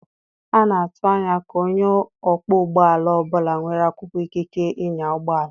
A na-atụ anya ka onye ọkpọ ụgbọ ala ọ bụla nwere akwụkwọ ikike ịnya ụgbọ ala.